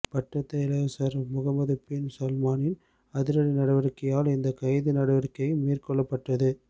பட்டத்து இளவரசர் Mohammed bin சல்மானின் அதிரடி நடவடிக்கையால் இந்த கைது நடவடிக்கைகள் மேற்கொள்ளப்பட்டது